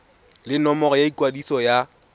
le nomoro ya ikwadiso ya